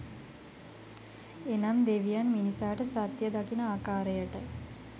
එනම් දෙවියන් මිනිසාට සත්‍ය දකින ආකාරයට